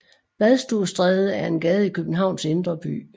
Badstuestræde er en gade i Københavns indre by